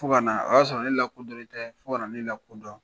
Fo ka na, o y'a sɔrɔ ne lakodɔnnen tɛ, fo ka na ne lakodɔn.